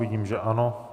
Vidím, že ano.